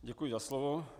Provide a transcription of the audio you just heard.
Děkuji za slovo.